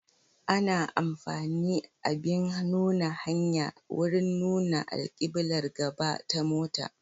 Ana amfani abin nuna hanya wurin nuna alkiblar gaba ta mota.